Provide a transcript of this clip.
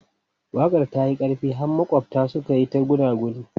Waƙar ta yi ƙarfi har maƙwabta suka yi ta gunaguni.